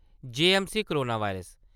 J M C corona virus